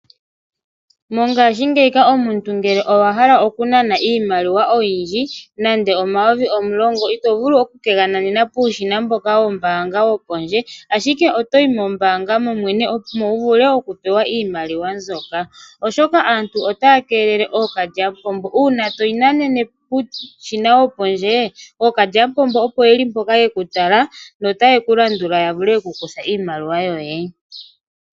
Mongaashingeyi omuntu ngele owa hala okunana iimaliwa oyindji nande omayovi omulongo ito vulu oku ke ga nanena puushina mboka wombaanga wopondje ashike otoyi mombaanga mo mwene opo wu vule okupewa iimaliwa mbyoka, oshoka aantu otaya keelele ookalyamupombo. Uuna toyi nanene puushina wopondje ookalyamupombo opo yeli mpoka yeku tala notaye ku landula ya vule okukutha iimaliwa yoye.